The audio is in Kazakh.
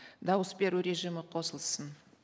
дауыс беру режимі қосылсын